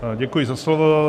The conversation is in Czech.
Děkuji za slovo.